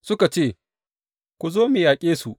Suka ce, Ku zo mu yaƙe su!